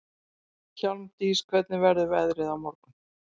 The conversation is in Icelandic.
Hjálmdís, hvernig verður veðrið á morgun?